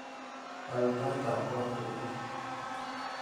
Waal taitab koot kopiririt